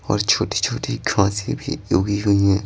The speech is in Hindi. और छोटी-छोटी घासे भी उगी हुई हैं।